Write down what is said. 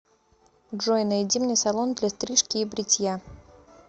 джой найди мне салон для стрижки и бритья